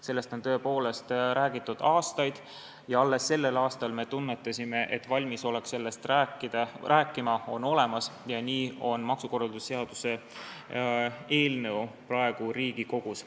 Sellest on tõepoolest räägitud aastaid ja alles sellel aastal me tunnetasime, et valmisolek sellest rääkida on olemas ja nii on maksukorralduse seaduse eelnõu praegu Riigikogus.